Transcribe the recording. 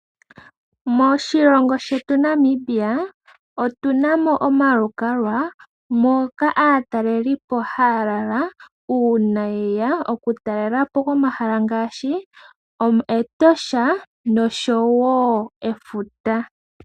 Moshilongo shetu shaNamibia otuna mo omalukalwa moka aatalelipo haya lala, uuna yeya okutalelapo komahala ngaashi, Etosha, noshowo Efuta.